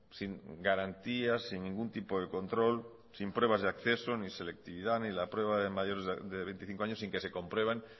sin garantías sin ningún tipo de control sin pruebas de acceso ni selectivad ni la prueba de mayores de veinticinco años sin que se comprueben